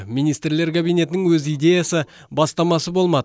министрлер кабинетінің өз идеясы бастамасы болмады